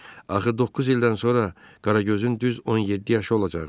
Axı doqquz ildən sonra Qaragözün düz 17 yaşı olacaqdı.